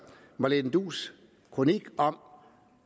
marlene duus kronik om